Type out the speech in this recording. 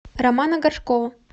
романа горшкова